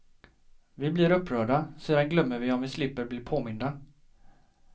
Vi blir upprörda, sedan glömmer vi om vi slipper bli påminda.